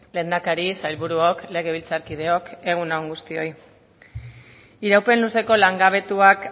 lehendakari sailburuok legebiltzarkideok egun on guztioi iraupen luzeko langabetuak